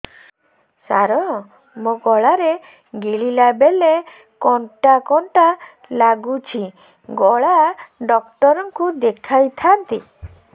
ସାର ମୋ ଗଳା ରେ ଗିଳିଲା ବେଲେ କଣ୍ଟା କଣ୍ଟା ଲାଗୁଛି ଗଳା ଡକ୍ଟର କୁ ଦେଖାଇ ଥାନ୍ତି